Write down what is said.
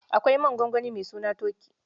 Akwai man gongoni mai suna Toki.